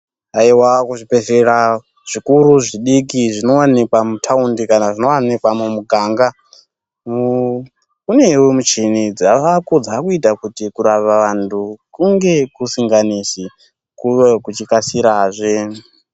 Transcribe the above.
Aihwa ku zvibhedhlera zvikuru zvidiki zvino wanikwa mutaundi kana zvino wanikwa mu muganga kunewo muchini dzavako dzakuita kuti kurapa vantu kunge kusinga nesi kuve kuchi kasirazve.